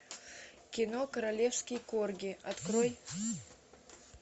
кино королевский корги открой